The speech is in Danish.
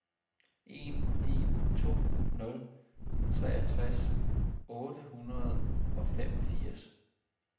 en en to nul treogtres otte hundrede og femogfirs